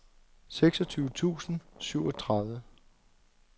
seksogtyve tusind og syvogtredive